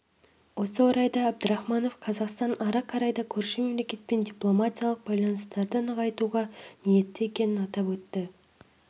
осы орайда әбдірахманов қазақстан ары қарай да көрші мемлекетпен дипломатиялық байланыстарды нығайтуға ниетті екенін атап өтті